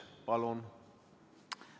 Palun!